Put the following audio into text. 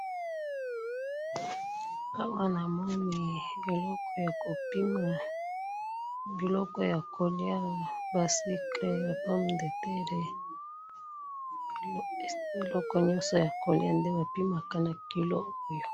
awa namoni eloko ya kopima biloko ya koliya ba sucre ba pomme de terre biloko nyonso ya koliya nde bapima awa